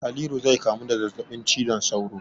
Haliru zai kamu da zazzabin cizon sauro.